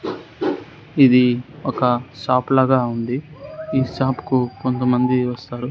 ఇది ఒక షాప్ లగా ఉంది ఈ షాప్ కు కొంతమంది వస్తారు.